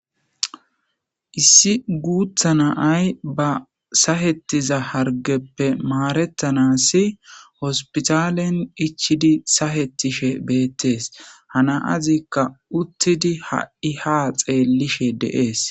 Issi guuththa na'ay ba sahettiza harggeppe maaretanaas hospitalen ichchidi sahetishe beettes. Ha na'azikka uttidi ha'i haa xeellishe de'ees.